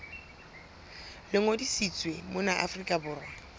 le ngodisitsweng mona afrika borwa